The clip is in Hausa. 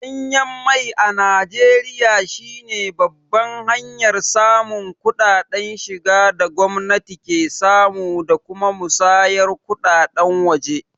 Danyen mai a Najeriya shi ne babban hanyar samun kuɗaɗen shiga da gwamnati ke samu da kuma musayar kuɗaɗen waje.